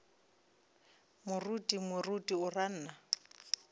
moruti moruti o ra nna